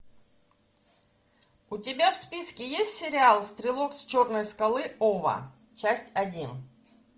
у тебя в списке есть сериал стрелок с черной скалы ова часть один